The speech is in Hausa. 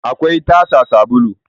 akwai tasa sabulu